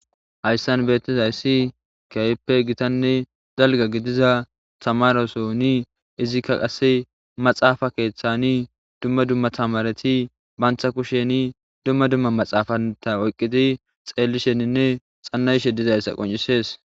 Haysan betizaysi issi kehipe gitane dalga gidiza tamaresoni izika qase maxafa kethani dumma dumma tamareti mantha kusheni dumma dumma naxafanta oykidi xellishenine xana'ishe dizaysa qonccisses